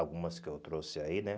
Algumas que eu trouxe aí, né?